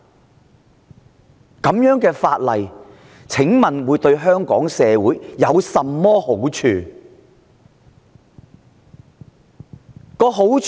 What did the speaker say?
請問這樣的法案對香港社會有甚麼好處？